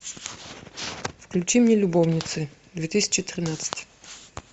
включи мне любовницы две тысячи тринадцать